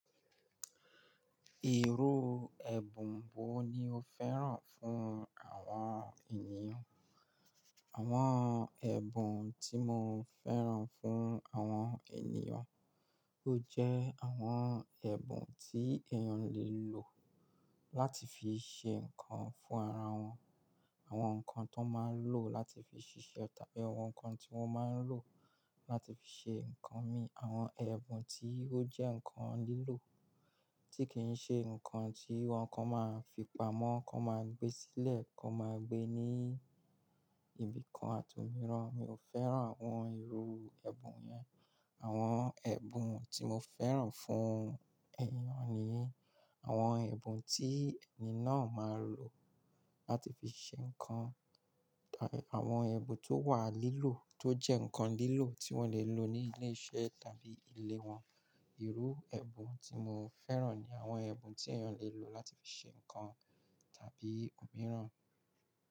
Ìrú ẹ̀bùn wo ni o fẹ́ràn fún àwọn ènìyàn? Àwọn ẹ̀bùn tí mo fẹ́ràn fún àwọn ènìyàn, ó jẹ́ àwọn ẹ̀bùn tí èèyàn lè lò láti fi ṣe nǹkan fún ara wọn. Àwọn nǹkan tó máa ń lò láti fi ṣiṣẹ́ tàbí àwọn nǹkan tí wọ́n máa ń lò láti fi ṣe nǹkan mi. Àwọn ẹ̀bùn tí ó jẹ́ nǹkan lílò tí kì í ṣe nǹkan tí wọn kan máa fi pa mọ́, kò máa gbé sílẹ̀, kò máa gbé ní ibìkan àti òmíràn. Mi ò fẹ́ràn àwọn ìrú ẹ̀bùn yẹn. Àwọn ẹ̀bùn tí mo fẹ́ràn fún èèyàn ni àwọn ẹ̀bùn tí ẹni náà máa lò láti fi ṣe nǹkan. Tàbí àwọn ẹ̀bùn tó wà lílò, tó jẹ́ nǹkan lílò tí wọ́n lè lò ní ilé iṣẹ́ tàbí ilé wọn. Ìrú ẹ̀bùn tí mo fẹ́ràn ni àwọn ẹ̀bùn tí èèyàn lè lò láti fi ṣe nǹkan tàbí òmíràn.